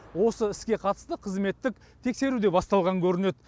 осы іске қатысты қызметтік тексеру де басталған көрінеді